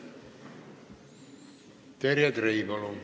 Terje Trei, palun!